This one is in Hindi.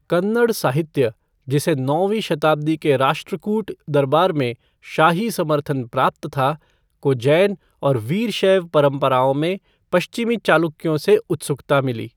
कन्नड़ साहित्य, जिसे नौवीं शताब्दी के राष्ट्रकूट दरबार में शाही समर्थन प्राप्त था, को जैन और वीरशैव परंपराओं में पश्चिमी चालुक्यों से उत्सुकता मिली।